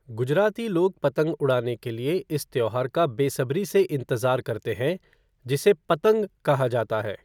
गुजराती लोग पतंग उड़ाने के लिए इस त्योहार का बेसब्री से इंतजार करते हैं, जिसे 'पतंग' कहा जाता है।